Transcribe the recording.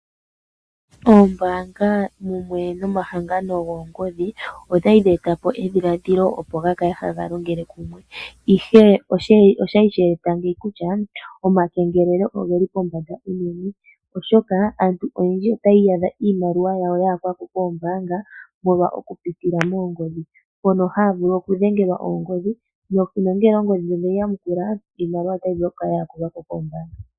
Oombanga mumwe nomahangano goongodhi odhali dheeta po edhilaadhilo opo gakale haga longele kumwe, ihe oshali sheeta ngeyi kutya omakengelelo ogeli pombanda unene, oshoka aantu oyendji otayi iyadha iimaliwa yawo yayakwa ko koombaanga molwa oku pitila moongodhi, mono haa vulu okudhengelwa oongodhi nongele oongodhi dhono yedhi yamukula iimaliwa otayi vulu kukala yaakulwa ko keembaanga.